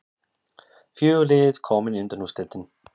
Fjögur lið komin í undanúrslitin